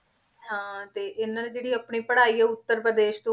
ਹਾਂ ਤੇ ਇਹਨਾਂ ਨੇ ਜਿਹੜੀ ਆਪਣੀ ਪੜ੍ਹਾਈ ਹੈ ਉੱਤਰ ਪ੍ਰਦੇਸ਼